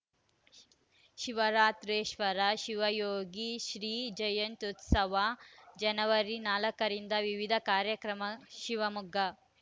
edited Shivaratrishwara Shivayogi Shri ಜಯಂತ್ಯುತ್ಸವ ಜನವರಿ ನಾಲ್ಕ ರಿಂದ ವಿವಿಧ ಕಾರ್ಯಕ್ರಮ ಶಿವಮೊಗ್ಗ